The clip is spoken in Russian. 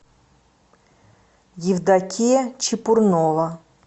евдокия чепурнова